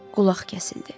Qulaq kəsildi.